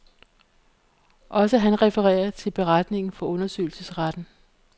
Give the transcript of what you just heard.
Også han refererer til beretningen fra undersøgelsesretten.